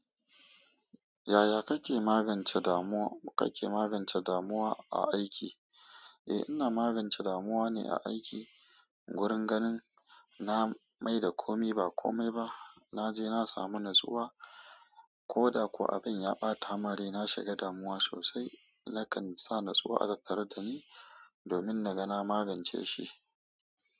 Yaya kake magance damuwa, kake magance damuwa a aiki? Eh ina magance damuwa ne a aiki. Wurin ganin na maida komai ba kome ba. Naje na samu natsuwa. Koda ko abin ya ɓatamin rai. Na shiga damuwa sosai. Nakan sa natsuwa a tattare dani domin naga na magance shi.